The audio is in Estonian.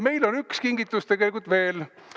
Meil on üks kingitus tegelikult veel.